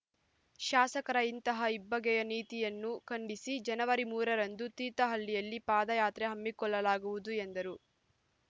ಶಾಸಕರ ಇಂತಹ ಇಬ್ಬಗೆಯ ನೀತಿಯನ್ನು ಖಂಡಿಸಿ ಜನವರಿ ಮೂರ ರಂದು ತೀರ್ಥಹಳ್ಳಿಯಲ್ಲಿ ಪಾದಯಾತ್ರೆ ಹಮ್ಮಿಕೊಳ್ಳಲಾಗುವುದು ಎಂದರು